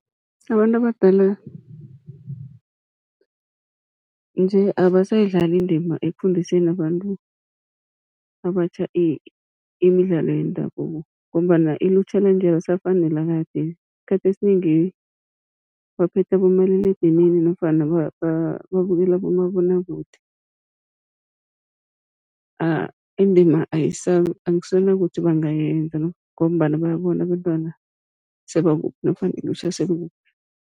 Abantu abadala nje abasayidlali indima ekufundiseni abantu abatjha imidlalo yendabuko, ngombana ilutjha lanje alisafani nelakade. Isikhathi esinengi baphethe abomaliledinini nofana babukele abomabonwakude, indima akusenakuthi bangayenza, ngombana bayabona abentwana sebakuphi nofana ilutjha selikuphi.